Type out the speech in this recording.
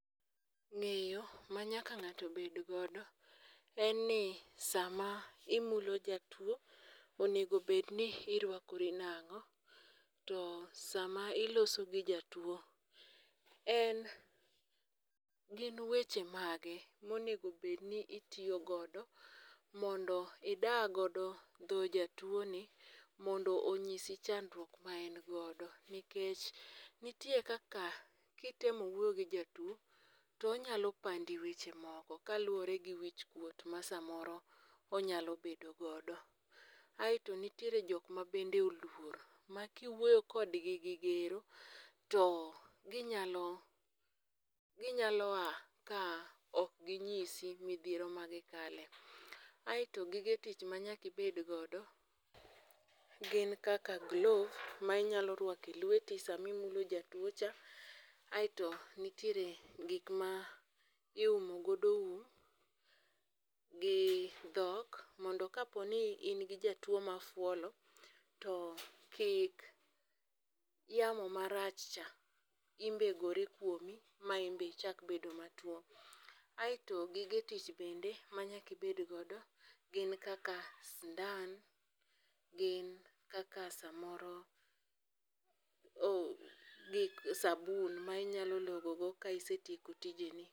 Ng'eyo ma nyaka ng'ato nyaka bed go en ni sama imulo jatuo, onego bed ni irwakori nang'o. To sama iloso gi jatuo, en gin weche mage monego bed ni itiyo godo mondo ida godo dho jatuo ni mondo onyisi chandruok ma en godo. Nikech nitie kaka kitemo wuoyo gi jatuoo, to onyalo pandi weche moko kaluore gi wich kuot ma samoro onyalo bedo godo. Aeto nitiere jok ma bende oluor ma kiwuoyo kodgi gi gero to ginyalo, ginyalo a ka ok ginyisi midhiero ma gikale. Aeto gige tich manyaka ibed godo gin kaka glove ma inyalo rwako e lweti samimulo jatuo cha. Aeto nitiere gik ma iumo godo um gi dhok mondo kapo ni in gi jatuo mafuolo to kik yamo marach cha in be gore kuomi ma inbe ichak bedo matuo. Aeto gige tich bende ma nyaki bed godo gin kaka sindan. Gin kaka samoro gik, sabun ma inyalo logo go ka isetieko tije ni.